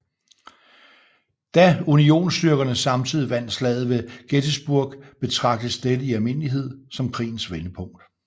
Da unionsstyrkerne samtidig vandt Slaget ved Gettysburg betragtes dette i almindelighed som krigens vendepunkt